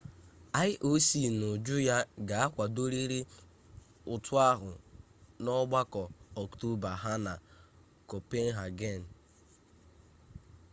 ioc n'uju ya ga akwadorịrị ụtụ ahụ n'ọgbakọ ọktoba ha na kopenhagen